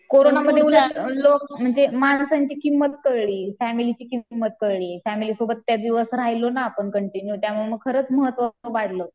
कोरोनामध्ये लोक म्हणजे माणसांची किंमत कळली फॅमिलीची किंमत कळली फॅमिली सोबत त्या दिवस राहिलो ना आपण कंटिन्यू त्यामुळं खरंच महत्व वाढलं.